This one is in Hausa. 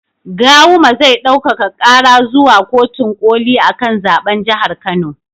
Gawuma zai ɗaukaka ƙara zuwa kotin ƙoli akan zaɓen jahar kano